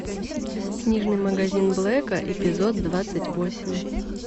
книжный магазин блэка эпизод двадцать восемь